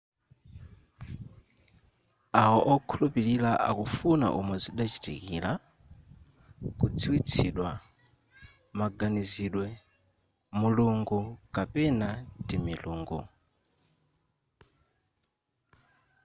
awo wokhulupilira akufuna umo zidachitikira kudziwitsidwa maganizidwe azipembedzo/mulungu kapena timilungo